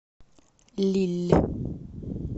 лилль